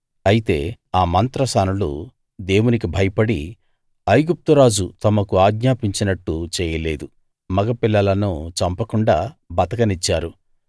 అయితే ఆ మంత్రసానులు దేవునికి భయపడి ఐగుప్తురాజు తమకు ఆజ్ఞాపించినట్టు చేయలేదు మగపిల్లలను చంపకుండా బతకనిచ్చారు